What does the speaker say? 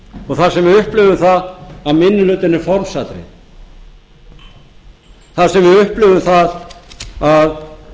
og þar sem við upplifum það að minni hlutinn er formsatriði þar sem við upplifum það að